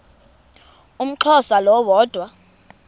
umxhosa lo woda